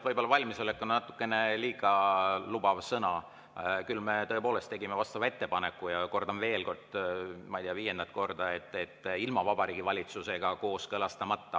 "Valmisolek" on natukene liiga lubav sõna, küll aga me tegime vastava ettepaneku, ja kordan veel kord, ma ei tea, viiendat korda, et ilma Vabariigi Valitsusega kooskõlastamata.